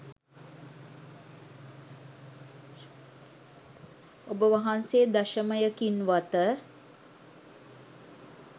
ඔබ වහන්සේ දශමයකින්වත